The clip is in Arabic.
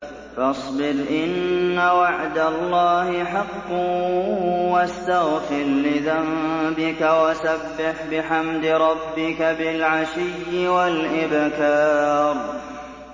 فَاصْبِرْ إِنَّ وَعْدَ اللَّهِ حَقٌّ وَاسْتَغْفِرْ لِذَنبِكَ وَسَبِّحْ بِحَمْدِ رَبِّكَ بِالْعَشِيِّ وَالْإِبْكَارِ